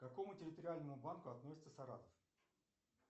к какому территориальному банку относится саратов